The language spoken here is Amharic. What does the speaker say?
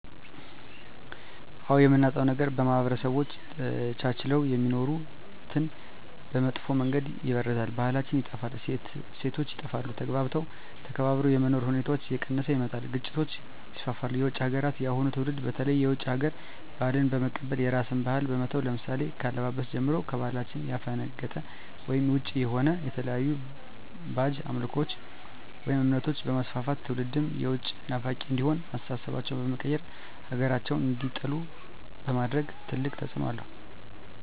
አዎ የምናጣዉ ነገር ማህበረሰቦች ተቻችለዉ የሚኖሩትን በመጥፋ መንገድ ይበርዛል ባህላችን ይጠፋል እሴቶች ይጠፋል ተግባብቶ ተከባብሮ የመኖር ሁኔታዎች እየቀነሰ ይመጣል ግጭቶች ይስፍፍሉ የዉጭ ሀገራትን የአሁኑ ትዉልድ በተለይ የዉጭ ሀገር ባህልን በመቀበል የራስን ባህል በመተዉ ለምሳሌ ከአለባበስጀምሮ ከባህላችን ያፈነቀጠ ወይም ዉጭ የሆነ የተለያዩ ባእጅ አምልኮችን ወይም እምነቶችንበማስፍፍት ትዉልዱም የዉጭ ናፋቂ እንዲሆን አስተሳሰባቸዉ በመቀየር ሀገራቸዉን እንዲጠሉ በማድረግ ትልቅ ተፅዕኖ አለዉ